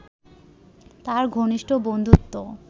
তাঁর ঘনিষ্ঠ বন্ধুত্ব